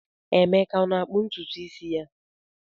Emeka ọ na-akpụ ntutu isi ya?